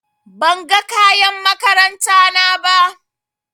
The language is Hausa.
Ban ga kayan makaranta na ba.